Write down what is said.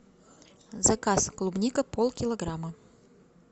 заказ клубника пол килограмма